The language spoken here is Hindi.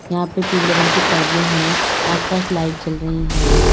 यहां पर पीले रंग के पर्दे हैं आसपास लाइट जल रही है।